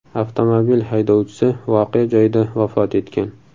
Avtomobil haydovchisi voqea joyida vafot etgan.